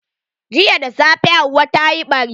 Jiya da safe hauwa tayi ɓari.